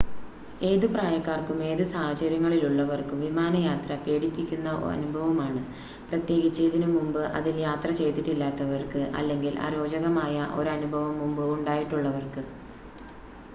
ഏത് പ്രായക്കാർക്കും ഏത് സാഹചര്യങ്ങളിലുള്ളവർക്കും വിമാനയാത്ര പേടിപ്പിക്കുന്ന അനുഭവമാണ് പ്രത്യേകിച്ച് ഇതിനുമുമ്പ് അതിൽ യാത്ര ചെയ്തിട്ടില്ലാത്തവർക്ക് അല്ലെങ്കിൽ അരോചകമായ ഒരനുഭവം മുമ്പ് ഉണ്ടായിട്ടുള്ളവർക്ക്